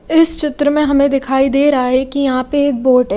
इस चित्र में हमें दिखाई दे रहा है कि यहां पे एक बोट --